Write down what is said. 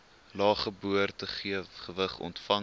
lae geboortegewig ontvang